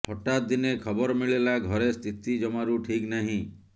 ହଠାତ୍ ଦିନେ ଖବର ମିଳିଲା ଘରେ ସ୍ଥିତି ଜମାରୁ ଠିକ୍ ନାହିଁ